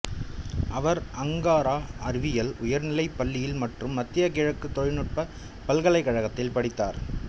அவர் Ankara அறிவியல் உயர்நிலைப் பள்ளியில் மற்றும் மத்திய கிழக்கு தொழில்நுட்ப பல்கலைக்கழகத்தில் படித்தார்